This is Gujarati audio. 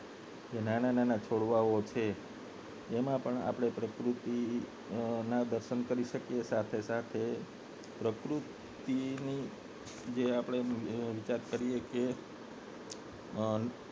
નાના નાના છોડવાઓ છે જેમાં પણ આ પ્રકૃતિ ના દર્શન કરી શકે સાથે સાથે પ્રકૃતિ ની જે આપને વિચાર કરી છે અ